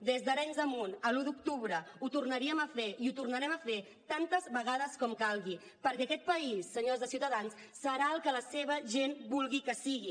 des d’arenys de munt a l’un d’octubre ho tornaríem a fer i ho tornarem a fer tantes vegades com calgui perquè aquest país senyors de ciutadans serà el que la seva gent vulgui que sigui